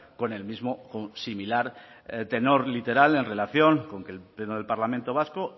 con el mismo o similar tenor literal en relación con que el pleno del parlamento vasco